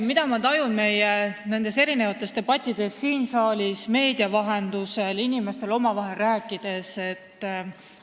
Mida ma tajun debattides, mis toimuvad siin saalis ja meedia vahendusel, aga ka inimestega rääkides?